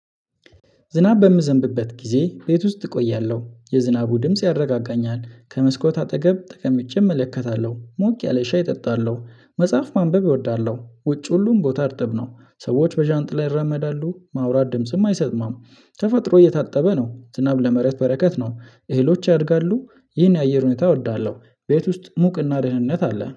ዝናብ በምዘንብበት ጊዜ ቤት ውስጥ እቆያለሁ የዝናቡ ድምጽ ያረጋጋኛል ከመስኮት አጠገብ ጠቀምቼ እመለከታለሁ ሞቅ ያለ ሻይ እጠጣለሁ መጽሐፍ ማንበብ እወዳለሁ። ውጭ ሁሉም ቦታ እርጥብ ነው ሰዎች በዣንጥላ ይራመዳሉ ማውራት ድምጽም አይሰማም። ተፈጥሮ እየታጠበ ነው ዝናብ ለመሬት በረከት ነው። እህሎች ያድጋሉ ይህን የአየር ሁኔታ እወዳለሁ። ቤት ውስጥ ሙቅና ደህንነት አለ